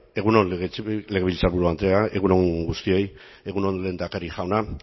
egun on legebiltzarburu andrea egun on guztioi egun on lehendakari jauna